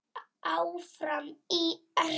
Áfram ÍR!